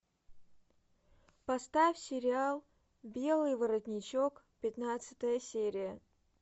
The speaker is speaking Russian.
поставь сериал белый воротничок пятнадцатая серия